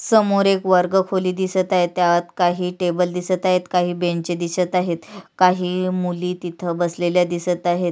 समोर एक वर्ग खोली दिसत आहे त्यात काही टेबल दिसत आहेत काही बेंच दिसत आहेत काही मुली तिथ बसलेल्या दिसत आहेत.